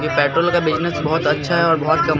petrol का business बहुत अच्छा है और बहुत कम--